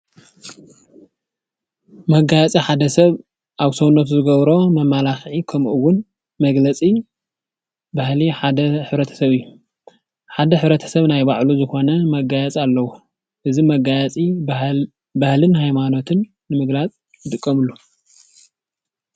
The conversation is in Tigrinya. መጋየፂ ሓደ ሰብ ኣብ ሰውነቱ ዝገብሮ መመላኽዒ ኸምኢ ውን መግለፂ ባህሊ ሕብረተሰብ እዩ። ሓደ ሕብረተሰብ ናይ ባዕሉ ዝኾነ መጋየፂ ኣለዎ እዚ መጋየፂ ባህልን ሃይማኖትን ንምግላፅ ይጥቀምሉ።